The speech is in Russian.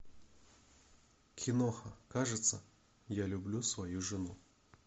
киноха кажется я люблю свою жену